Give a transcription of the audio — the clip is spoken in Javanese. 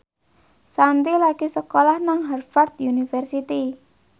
Shanti lagi sekolah nang Harvard university